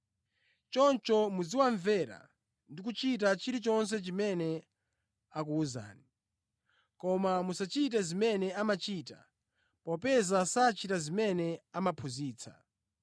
Choncho muziwamvera ndi kuchita chilichonse chimene akuwuzani. Koma musachite zimene amachita, popeza sachita zimene amaphunzitsa.